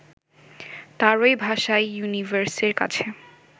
তাঁরই ভাষায় ইউনিভার্সের কাছে